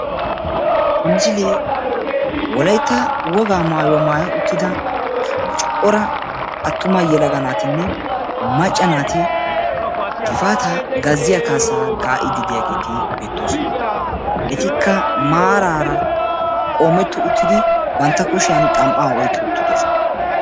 ha misille wolaytta wogaa maayuwaa maayi uttida corra attumane macca naati giffatta gaziyaa kaassa kaa"iyagetti beettosona ettikka maaran eqid kushiyani gatima oyqi uttidossona.